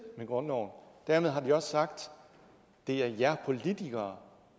med grundloven dermed har de også sagt det er jer politikere